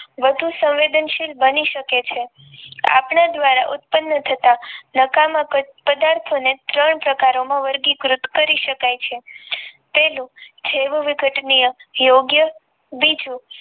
વધુ સંવેદન શીલ બની શકે છે આપડા દ્ધારા ઉત્પન્ન થતા પદાર્થો ને વર્ગીકૃત કરી શકાય છે તેનું જેવવિઘટીય યોગ્ય બીજું